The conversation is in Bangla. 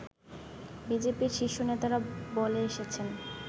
বিজেপির শীর্ষ নেতারা বলে এসেছেন